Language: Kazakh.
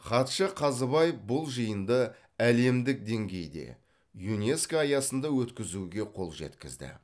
хатшы қазыбаев бұл жиынды әлемдік деңгейде юнеско аясында өткізуге қол жеткізді